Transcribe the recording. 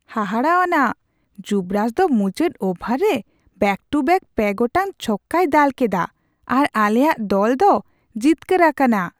ᱦᱟᱦᱟᱲᱟᱣᱟᱱᱟᱜ ! ᱡᱩᱵᱳᱨᱟᱡ ᱫᱚ ᱢᱩᱪᱟᱹᱫ ᱳᱵᱷᱟᱨ ᱨᱮ ᱵᱮᱠ ᱴᱩ ᱵᱮᱠ ᱯᱮ ᱜᱚᱴᱟᱝ ᱪᱷᱚᱠᱠᱟᱭ ᱫᱟᱞ ᱠᱮᱫᱟ ᱟᱨ ᱟᱞᱮᱭᱟᱜ ᱫᱚᱞ ᱫᱚ ᱡᱤᱛᱠᱟᱹᱨ ᱟᱠᱟᱱᱟ ᱾